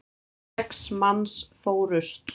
Sex manns fórust.